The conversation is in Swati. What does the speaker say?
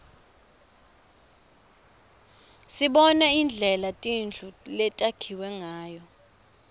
sibona indlela tindlu letakhiwe ngayo